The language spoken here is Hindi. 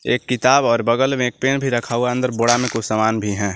एक किताब और बगल में एक पेन भी रखा हुआ अंदर बोड़ा में कुछ सामान भी है।